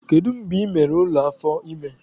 Kedu mgbe ị mere ule afọ ime?